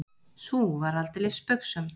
Sú var aldeilis spaugsöm!